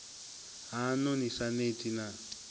haṋu ni sa neti na